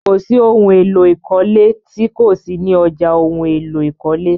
Kò sí ohun èlò ìkọ́lé tí kò sí ni ọ̀já ohun èlò ìkọ́lé.